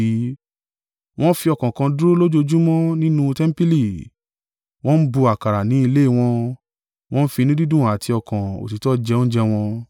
Wọ́n fi ọkàn kan dúró lójoojúmọ́ nínú tẹmpili. Wọ́n ń bu àkàrà ní ilé wọn, wọn ń fi inú dídùn àti ọkàn òtítọ́ jẹ oúnjẹ wọn.